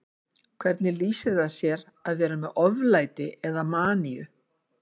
Hvernig lýsir það sér að vera með oflæti eða maníu?